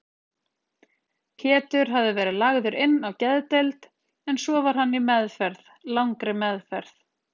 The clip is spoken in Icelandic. Pétur hafði verið lagður inn á geðdeild, en svo var hann í meðferð, langri meðferð.